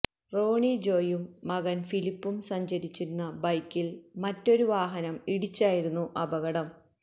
റോണി ജോയും മകന് ഫിലിപ്പും സഞ്ചരിച്ചിരുന്ന ബൈക്കില് മറ്റൊരു വാഹനം ഇടിച്ചായിരുന്നു അപകടം